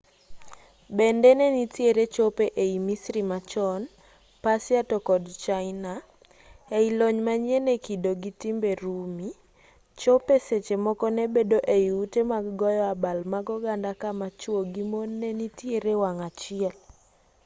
bende ne nitiere chope ei misri machon persia to kod china ei lony manyien e kido gi timbe rumi chope seche moko ne bedo ei ute mag goyo abal mag oganda kama chuo gi mon ne nitiere wang' achiel